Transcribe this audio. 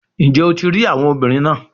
Njẹ o ti rii awọ obinrin naa?